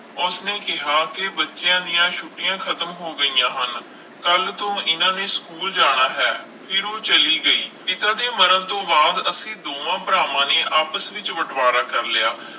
ਉਸਨੇ ਕਿਹਾ ਕਿ ਬੱਚਿਆਂ ਦੀਆਂ ਛੁੱਟੀਆਂ ਖਤਮ ਹੋ ਗਈਆਂ ਹਨ ਕੱਲ੍ਹ ਤੋਂ ਇਹਨਾਂ ਨੇ ਸਕੂਲ ਜਾਣਾ ਹੈ ਫਿਰ ਉਹ ਚਲੀ ਗਈ, ਪਿਤਾ ਦੇ ਮਰਨ ਤੋਂ ਬਾਅਦ ਅਸੀਂ ਦੋਹਾਂ ਭਰਾਵਾਂ ਨੇ ਆਪਸ ਵਿੱਚ ਬਟਵਾਰਾ ਕਰ ਲਿਆ,